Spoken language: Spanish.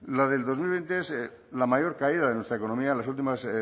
la del dos mil veinte es la mayor caída de nuestra economía de las últimas